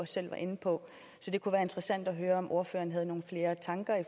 selv var inde på så det kunne være interessant at høre om ordføreren har nogle flere tanker